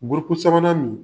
sabanan nin